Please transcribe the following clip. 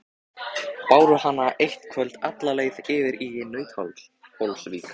Báru hana eitt kvöld alla leið yfir í Nauthólsvík.